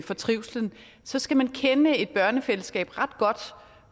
for trivslen så skal man kende et børnefællesskab ret godt